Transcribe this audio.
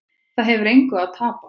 Það hefur engu að tapa